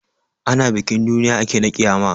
Ana bikin duniya ake na ƙiyama.